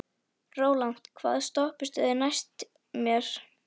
Rólant, hvaða stoppistöð er næst mér?